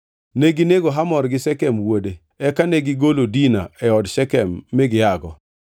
Neginego Hamor gi Shekem wuode, eka negigolo Dina e od Shekem mi giago.